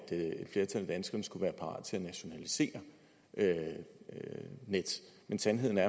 et flertal af danskerne skulle være parat til at nationalisere nets men sandheden er